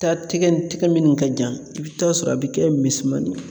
taa tɛgɛ nin tɛgɛ minnu ka jan i bɛ taa sɔrɔ a bɛ kɛ misɛmanin ye.